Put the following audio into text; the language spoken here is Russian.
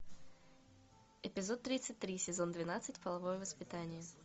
эпизод тридцать три сезон двенадцать половое воспитание